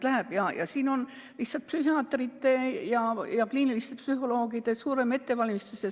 Aga see nõuab rohkemate psühhiaatrite ja kliiniliste psühholoogide ettevalmistust.